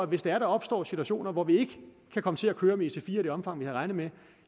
hvis der opstår situationer hvor vi ikke kan komme til at køre med ic4 i det omfang som vi har regnet